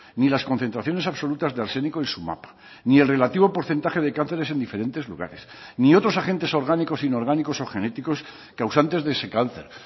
ni las concentraciones absolutas de arsénico en su mapa ni el relativo porcentaje de cánceres en diferentes lugares ni otros agentes orgánicos inorgánicos o genéticos causantes de ese cáncer